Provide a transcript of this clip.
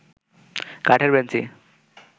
কাঠের বেঞ্চি